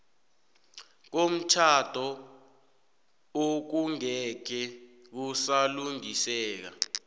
komtjhado okungeke kusalungiseka